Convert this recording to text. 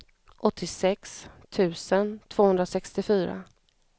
åttiosex tusen tvåhundrasextiofyra